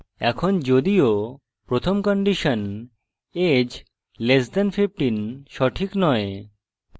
এখন যদিও প্রথম condition age less than 15 সঠিক নয়